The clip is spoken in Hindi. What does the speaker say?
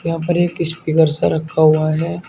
यहां पर एक स्पीकर सा रखा हुआ है।